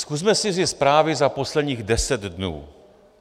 Zkusme si vzít zprávy za posledních deset dnů.